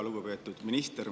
Lugupeetud minister!